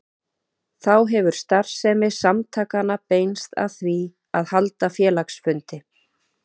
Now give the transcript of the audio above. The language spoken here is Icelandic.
Þá hefur starfsemi samtakanna beinst að því að halda félagsfundi.